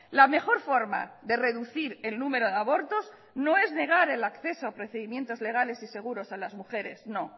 la mejor forma de reducir el número de abortos no es negar el acceso a procedimientos legales y seguros a las mujeres no